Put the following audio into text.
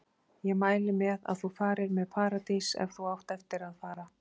Ég mæli með að þú farir með Paradís ef þú átt eftir að fara.